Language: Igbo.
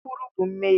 Nkwulu bụ mmehie